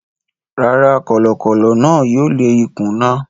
Rárá, kọ̀lọ̀kọ̀lọ̀ náà yóò lé ikún náà.